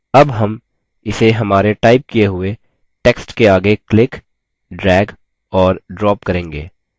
अब हम इसे हमारे टाइप किये हुए text के आगे click drag और drop करेंगे